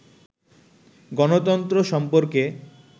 গণতন্ত্র সম্পর্কে